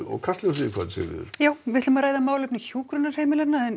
Kastljósi kvöldsins Sigríður við ætlum að ræða málefni hjúkrunarheimilanna en